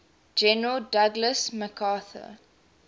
general douglas macarthur